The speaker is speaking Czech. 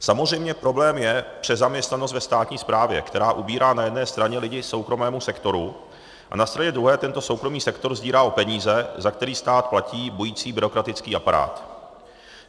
Samozřejmě problém je přezaměstnanost ve státní správě, která ubírá na jedné straně lidi soukromému sektoru, a na straně druhé tento soukromý sektor sdírá o peníze, za který stát platí bující byrokratický aparát.